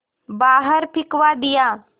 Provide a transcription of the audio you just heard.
बाहर फिंकवा दिया